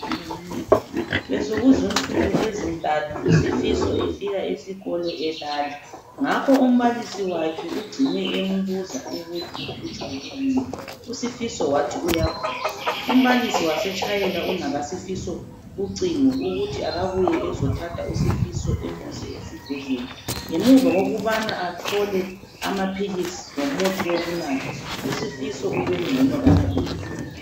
Besokuzinsuku ezintathu uSifiso efika esikolo elala ngakho umbalisi wakhe ugcine embuza ukuthi uhlutshwa yikuyini. USifiso wathi uyagula. Umbalisi wasetshayela unakaSifiso ucingo ukuthi akabuye ezothatha iSifiso emuse esibhedlela. Ngemuva kokubana athole amaphilisi lomuthi wokunatha uSifiso ubengcono kakhulu.